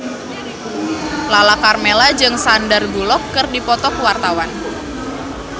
Lala Karmela jeung Sandar Bullock keur dipoto ku wartawan